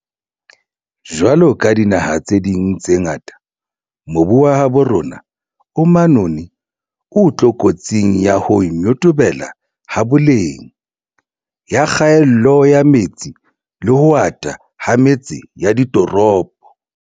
Jwaloka dinaha tse ding tse ngata, mobu wa habo rona o manoni o tlokotsing ya ho nyotobela ha boleng, ya kgaello ya metsi le ho ata ha metse ya ditoropo.